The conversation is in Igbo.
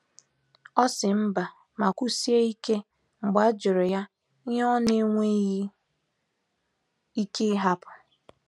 O si mba ma kwusie ike mgbe ajuru ya ihe ona enweghi ike ihapu